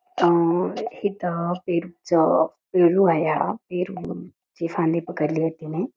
अ हित पेरूच पेरू आहे हा पेरूची फांदी पकडली आहे तिनी.